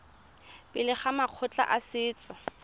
pele ga makgotla a setso